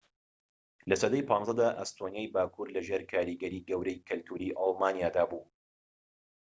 لە سەدەی ١٥ دا، ئەستۆنیای باكوور لەژێر کاریگەریەکی گەورەی کەلتوری ئەلمانیادا بوو